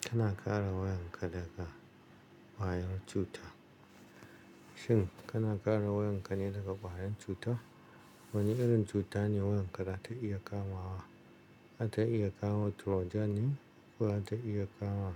Kana ƙara wayan ka daga kwayar cuta. Shin kana ƙara wayan ka ne daga kwayar cuta? Wane irin cuta ne wayan ka za ta iya kama wa? Za ta iya kama Trojan ne ko za ta iya kama